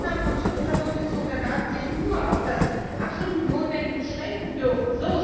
Weil Ausnahmen vom Schutz personenbezogener Daten sich nur auf das absolut Notwendige beschränken dürfen.